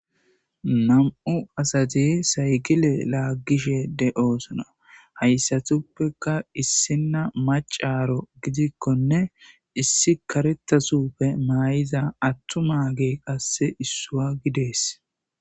Nam'u asate saygile laaggishe de'oosona hayssatuppeka issina macaro gidikkonne issi karettasuppe maay'iza attumage qasse issua gidees.